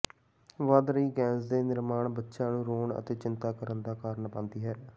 ਵਧ ਰਹੀ ਗੈਸ ਦੇ ਨਿਰਮਾਣ ਬੱਚਿਆਂ ਨੂੰ ਰੋਣ ਅਤੇ ਚਿੰਤਾ ਕਰਨ ਦਾ ਕਾਰਨ ਬਣਦੀ ਹੈ